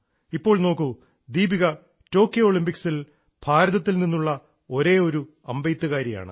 ഇപ്പോൾ നോക്കൂ ദീപിക ടോക്കിയോ ഒളിമ്പിക്സിൽ ഭാരതത്തിൽ നിന്നുള്ള ഒരേയൊരു അമ്പെയ്ത്തുകാരിയാണ്